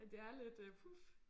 Det er lidt øh puh